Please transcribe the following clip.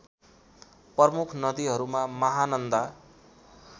प्रमुख नदीहरूमा महानन्दा